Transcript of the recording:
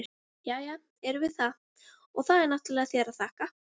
Jæja, erum við það, og það er náttúrlega þér að þakka!